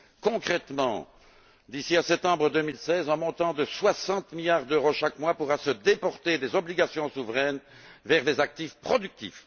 Concrètement, d'ici à septembre 2016, un montant de 60 milliards d'euros chaque mois pourra se déporter des obligations souveraines vers des actifs productifs.